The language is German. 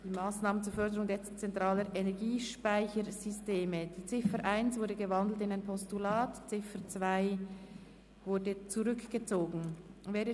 Die Ziffer 1 ist in ein Postulat umgewandelt und die Ziffer 2 zurückgezogen worden.